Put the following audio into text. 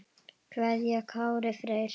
kveðja Kári Freyr.